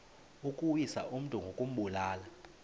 ukuwisa umntu ngokumbulala